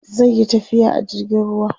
zaiyi tafiya a jirgin ruwa